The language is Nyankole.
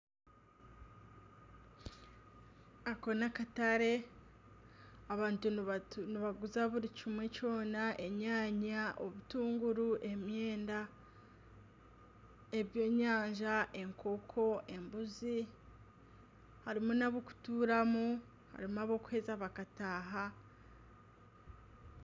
Ako ni akatare abantu nibaguza buri kimwe kyona enyaanya , obutunguru , emyenda ebyenyanja, enkoko , embuzi ,harimu n'abokuturamu harimu n'abakuheza bakataaha.